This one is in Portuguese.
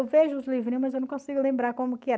Eu vejo os livrinhos, mas eu não consigo lembrar como que era.